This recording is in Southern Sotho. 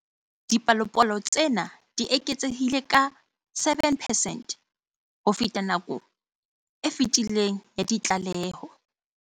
Dipalopalo tsena di eketsehile ka 7 percent ho feta nakong e fetileng ya ditlaleho.